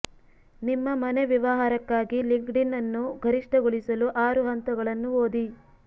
ನಿಮ್ಮ ಮನೆ ವ್ಯವಹಾರಕ್ಕಾಗಿ ಲಿಂಕ್ಡ್ಇನ್ ಅನ್ನು ಗರಿಷ್ಠಗೊಳಿಸಲು ಆರು ಹಂತಗಳನ್ನು ಓದಿ